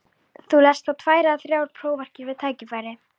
Þú lest þá tvær eða þrjár prófarkir við tækifæri.